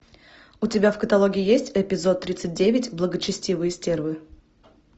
у тебя в каталоге есть эпизод тридцать девять благочестивые стервы